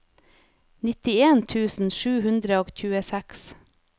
nittien tusen sju hundre og tjueseks